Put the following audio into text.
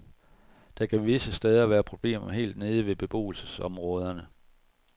Der kan visse steder været problemer helt nede ved beboelsesområderne.